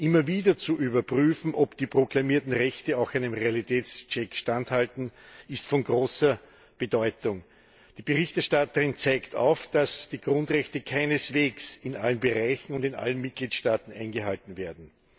Immer wieder zu überprüfen, ob die proklamierten Rechte auch einem Realitätscheck standhalten, ist von großer Bedeutung. Die Berichterstatterin zeigt auf, dass die Grundrechte keineswegs in allen Bereichen und in allen Mitgliedstaaten eingehalten werden.